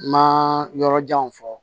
Ma yɔrɔ janw fɔ